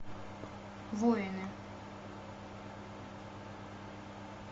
воины